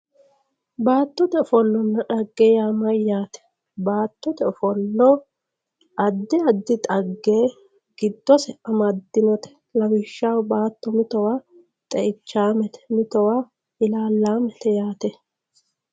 baattote ofollonna xagge yaa mayyate baattote ofollo addi addi xagge giddose amaddinote lawishshaho baatto mitowa xeichaamete mitowa ilaallaamete yaate.